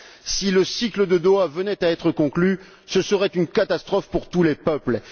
Si le cycle de Doha venait à être conclu, ce serait une catastrophe pour tous les peuples.